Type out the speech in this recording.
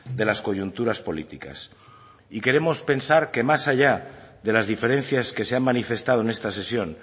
de las coyunturas políticas y queremos pensar que más allá de las diferencias que se han manifestado en esta sesión